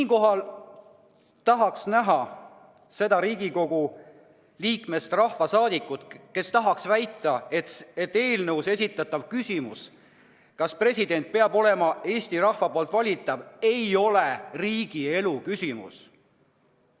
Ma tahaks näha seda Riigikogu liikmest rahvasaadikut, kes väidab, et eelnõus esitatav küsimus, kas president peab olema Eesti rahva poolt valitav, ei ole riigielu küsimus.